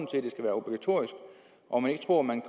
om man ikke tror at man